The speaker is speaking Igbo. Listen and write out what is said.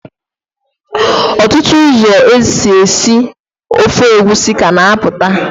Ọtụtụ ụzọ esi, esi ofe egusi ka na-apụta.